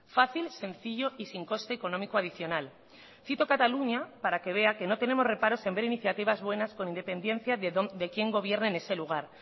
fácil sencillo y sin coste económico adicional cito cataluña para que vea que no tenemos reparos en ver iniciativas buenas con independencia de quién gobierne en ese lugar